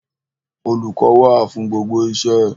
Olùkọ́ wà fún gbogbo iṣẹ́.